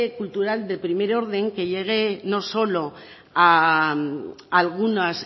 cultural de primer orden que llegue no solo a algunos